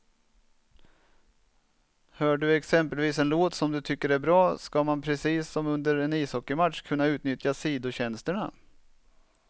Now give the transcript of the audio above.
Hör du exempelvis en låt som du tycker är bra, ska man precis som under en ishockeymatch kunna utnyttja sidotjänsterna.